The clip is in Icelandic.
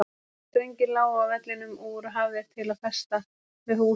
Strengir lágu á vellinum og voru hafðir til að festa með hús jafnan.